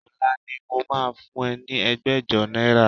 Ọ̀la ni mo máa fún ẹ ní ẹgbẹ̀jọ náírà